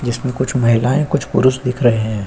जिसमें कुछ महिलाये कुछ पुरुष दिख रहे हैं।